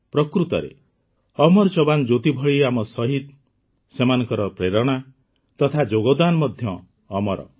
ପ୍ରକୃତରେ ଅମର ଯବାନ୍ ଜ୍ୟୋତି ଭଳି ଆମ ଶହୀଦ୍ ସେମାନଙ୍କର ପ୍ରେରଣା ତଥା ଯୋଗଦାନ ମଧ୍ୟ ଅମର